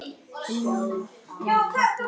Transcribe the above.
Hilmar og Katla.